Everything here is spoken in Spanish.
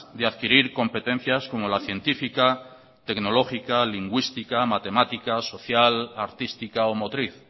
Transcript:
de adquirir competencias como la científica tecnológica lingüística matemática social artística o motriz